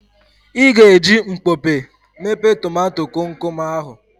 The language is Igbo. Ị ga-eji mkpọpe mepe tomato komkom ahụ.